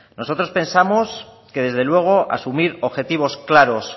nosotros pensamos que desde luego asumir objetivos claros